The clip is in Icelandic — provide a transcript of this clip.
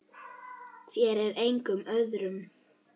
Þér og engum öðrum.